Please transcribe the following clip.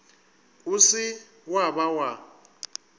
o se wa ba wa